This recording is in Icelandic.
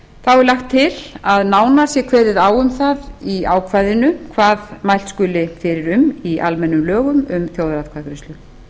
er lagt til að nánar sé kveðið á um það í ákvæðinu hvað mælt skuli fyrir um í almennum lögum um þjóðaratkvæðagreiðslu